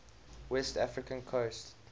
west african coast